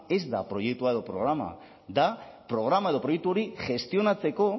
ez da proiektua edo programa da programa edo proiektu hori gestionatzeko